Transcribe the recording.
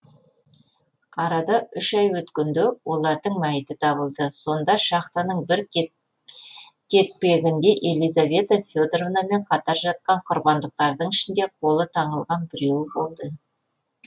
арада үш ай өткенде олардың мәйіті табылды сонда шахтаның бір кертпегінде елизавета федоровнамен қатар жатқан құрбандықтардың ішінде қолы таңылған біреуі болды